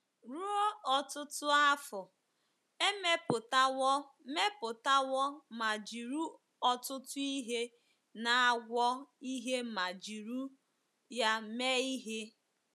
Ruo ọtụtụ afọ, e mepụtawo mepụtawo ma jiri ọtụtụ ihe na-agwọ ihe ma jiri ya mee ihe.